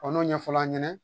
n'o ɲɛfɔla an ɲɛna